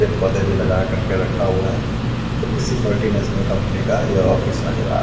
पेड़ पोधे भी लगा कर के रखा हुआ है और किसी मल्टी नेशनल कंपनी का ये ऑफिस नज़र आ रहा--